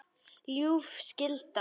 ljúf skylda.